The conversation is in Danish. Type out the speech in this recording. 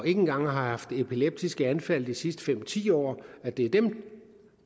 ikke engang har haft et epileptisk anfald i de sidste fem ti år og det er dem